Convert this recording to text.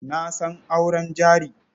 Na san auren jari.